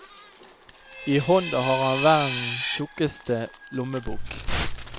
I hånda har han verdens tjukkeste lommebok.